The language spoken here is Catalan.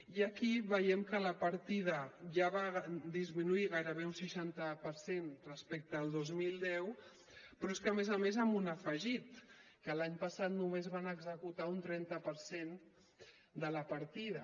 i aquí veiem que la partida ja va disminuir gairebé un seixanta per cent respecte al dos mil deu però és que a més a més amb un afegit que l’any passat només van executar un trenta per cent de la partida